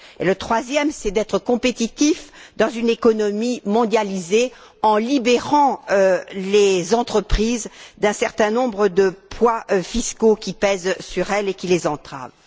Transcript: Le troisième, c'est d'être compétitif dans une économie mondialisée en libérant les entreprises d'un certain nombre de poids fiscaux qui pèsent sur elles et qui les entravent.